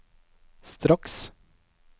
straks